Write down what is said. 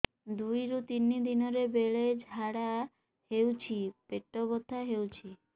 ଦୁଇରୁ ତିନି ଦିନରେ ବେଳେ ଝାଡ଼ା ହେଉଛି ପେଟ ବଥା ହେଉଛି